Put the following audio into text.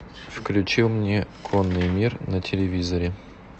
включи мне конный мир на телевизоре